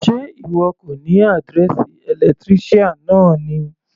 Sé ìwọ kò ní àdírẹ́ẹ̀sì electrician náà ni.